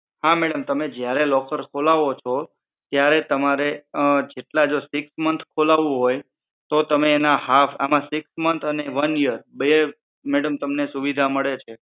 હા madam તમે જયારે locker ખોલાવો છો ત્યારે તમારે જેટલા જો six months ખોલાવું હોય તો તમે એના half માં six months અને one year બેય madam તમને સુવિધા મળે છે